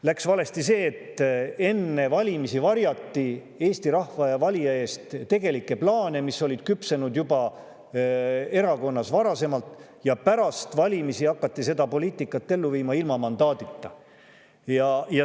Läks valesti see, et enne valimisi varjati Eesti rahva ja valija eest tegelikke plaane, mis olid küpsenud erakonnas juba varasemalt, ja pärast valimisi hakati seda poliitikat ellu viima ilma mandaadita.